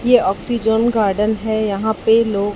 ये oxygen garden है यहां पे लोग--